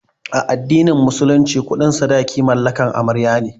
A addinin musulunci kuɗin sadaki mallakan amarya ne